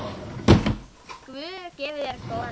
Guð gefi þér góða nótt.